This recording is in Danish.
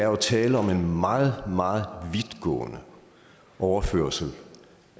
er tale om en meget meget vidtgående overførsel